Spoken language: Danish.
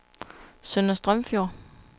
Sønder Strømfjord